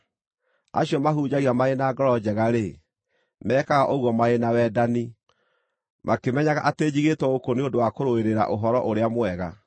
Acio mahunjagia marĩ na ngoro njega-rĩ, mekaga ũguo marĩ na wendani, makĩmenyaga atĩ njigĩĩtwo gũkũ nĩ ũndũ wa kũrũĩrĩra Ũhoro-ũrĩa-Mwega.